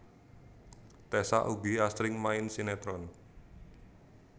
Tessa ugi asring main sinetron